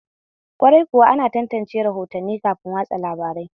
Kwarai kuwa, ana tantance rahotanni kafin watsa labarai